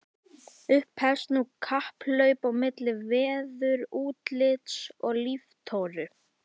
Upphefst nú kapphlaup á milli veðurútlits og líftóru.